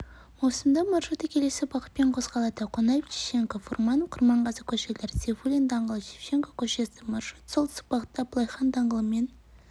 маусымда маршруты келесі бағытпен қозғалады қонаев шевченко фурманов құрманғазы көшелері сейфуллин даңғылы шевченко көшесі маршрут солтүстік бағытта абылай хан даңғылымен